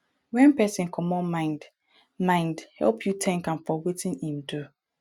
when person comot mind mind help you thank am for wetin im do